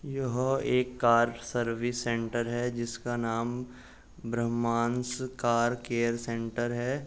यह एक car service centre है जिसका नाम ब्रम्हांस कार केयर सेंटर है।